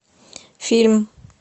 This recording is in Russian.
фильм